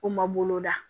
O ma boloda